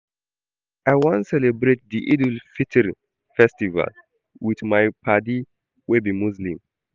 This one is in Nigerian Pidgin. I wan celebrate di Eid-el-Fitri festival wit my paddy wey be Muslim.